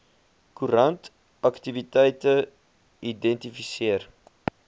koerant aktiwiteite identifiseer